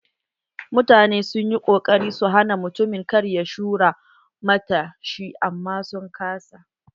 Mutane sun yi kokarin su hana mutumin kar ya shura matar shi amman sun ƙasa.